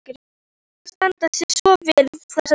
Óli er að standa sig svo vel þessa dagana.